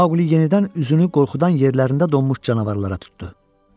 Maquli yenidən üzünü qorxudan yerlərində donmuş canavarlara tutdu.